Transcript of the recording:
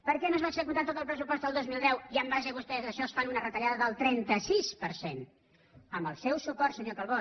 per què no es va executar tot el pressupost del dos mil deu i en base vostès a això fan una retallada del trenta sis per cent amb el seu suport senyor calbó